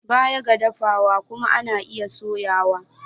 Baya ga dafa dawa kuma ana iya soya su.